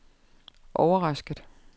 overrasket